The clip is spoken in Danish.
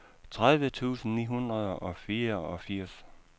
tredive tusind ni hundrede og fireogfirs